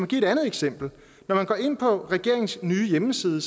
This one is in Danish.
give et andet eksempel når man går ind på regeringens nye hjemmeside